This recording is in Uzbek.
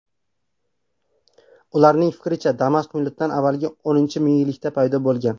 Ularning fikricha, Damashq miloddan avvalgi X mingyillikda paydo bo‘lgan.